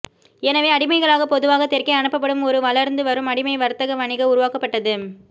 எனவே அடிமைகளாக பொதுவாக தெற்கே அனுப்பப்படும் ஒரு வளர்ந்து வரும் அடிமை வர்த்தக வணிக உருவாக்கப்பட்டது